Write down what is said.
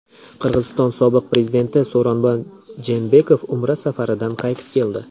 Qirg‘iziston sobiq prezidenti So‘ronboy Jeenbekov Umra safaridan qaytib keldi.